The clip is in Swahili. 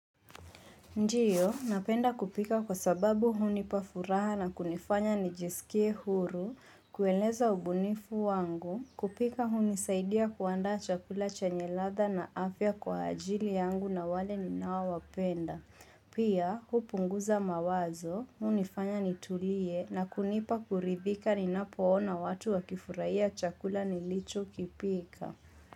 Ndio, napenda kupika kwa sababu hunipa furaha na kunifanya nijiskie huru, kueleza ubunifu wangu, kupika hunisaidia kuandaa chakula chenye ladha na afya kwa ajili yangu na wale ninao wapenda. Pia, kupunguza mawazo, hunifanya nitulie na kunipa kuridhika ninapoona watu wakifurahia chakula nilichokipika.